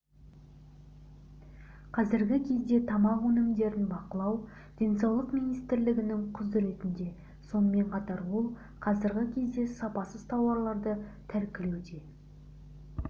қазіргі кезде тамақ өнімдерін бақылау денсаулық министрлігінің құзыретінде сонымен қатар ол қазіргі кезде сапасыз тауарларды тәркілеуде